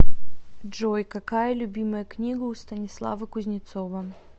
джой какая любимая книга у станислава кузнецова